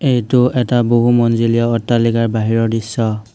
এইটো এটা বহু অট্টালিকাৰ বাহিৰৰ দৃশ্য।